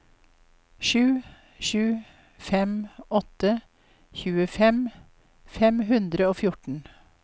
sju sju fem åtte tjuefem fem hundre og fjorten